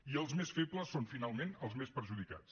i els més febles són finalment els més perjudicats